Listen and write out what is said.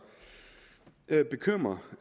bekymrer